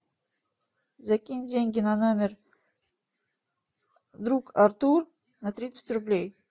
закинь деньги на номер друг артур на тридцать рублей